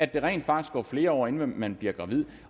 der rent faktisk går flere år inden man bliver gravid